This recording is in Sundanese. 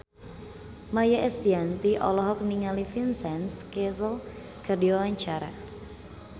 Maia Estianty olohok ningali Vincent Cassel keur diwawancara